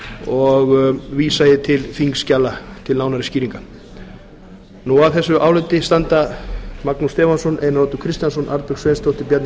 og vísa ég til þingskjala til nánari skýringar að þessu áliti standa magnús stefánsson einar oddur kristjánsson arnbjörg sveinsdóttir bjarni